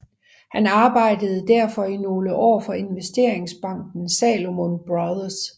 Han arbejdede derfor i nogle år for investeringsbanken Salomon Brothers